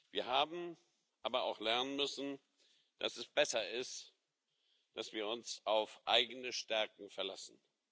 Wir haben aber auch lernen müssen, dass es besser ist, dass wir uns auf eigene Stärken verlassen.